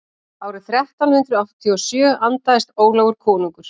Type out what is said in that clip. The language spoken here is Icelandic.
árið þrettán hundrað áttatíu og sjö andaðist ólafur konungur